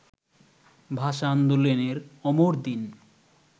ভাষা আন্দোলনের অমর দিন